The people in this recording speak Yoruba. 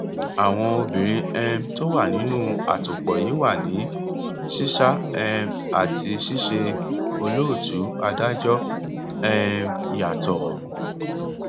àwọn obìnrin um tó wà nínú àtòpọ yìí wà ní ṣíṣá um àti ṣíṣe olóòtú adájọ um yàtọ